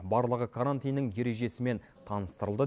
барлығы карантиннің ережесімен таныстырылды